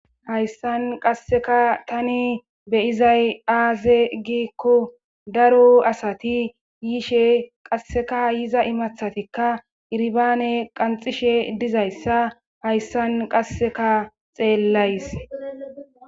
hayssan qasseka tani beyizay aaze gikko daro asati yiishe qasseka yiza imathatikka irbaane qanxishe dizayssa hayssan qasseka xeellays